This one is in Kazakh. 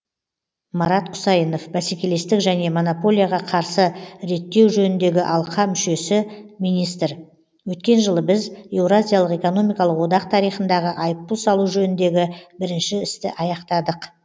марат құсайынов бәсекелестік және монополияға қарсы реттеу жөніндегі алқа мүшесі министр өткен жылы біз еуразиялық экономикалық одақ тарихындағы айыппұл салу жөніндегі бірінші істі аяқтадық